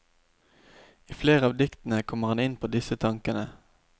I flere av diktene kommer han inn på disse tankene.